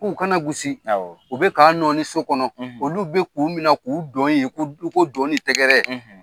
K'u kana gusi. Awɔ. U bɛ k'a nɔɔni so kɔnɔ. Olu bɛ k'u minɛ k'u dɔn ye, i ko i ko dɔn ni tɛgɛrɛ